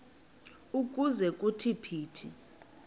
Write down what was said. ukuze kuthi phithi